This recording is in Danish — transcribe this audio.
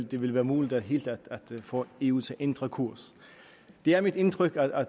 det ville være muligt helt at få eu til at ændre kurs det er mit indtryk at